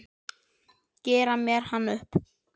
Gera mér hann upp?